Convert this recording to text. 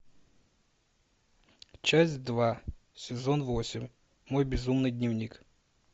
часть два сезон восемь мой безумный дневник